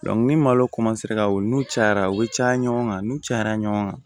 ni malo ka wo n'u cayara u bɛ caya ɲɔgɔn kan n'u cayara ɲɔgɔn kan